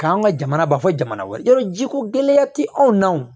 K'an ka jamana ba fɔ jamana wɛrɛw jiko gɛlɛya ti anw na o